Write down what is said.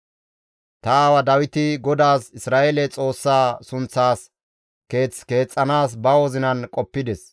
«Ta aawa Dawiti GODAAS Isra7eele Xoossaa sunththaas keeth keexxanaas ba wozinan qoppides.